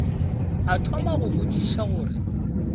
a thoma go botšiša gore